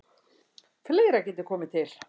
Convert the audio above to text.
Fleira geti komið til.